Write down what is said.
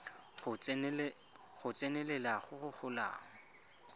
go tsenelela go go golang